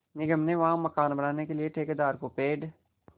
निगम ने वहाँ मकान बनाने के लिए ठेकेदार को पेड़